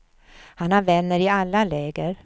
Han har vänner i alla läger.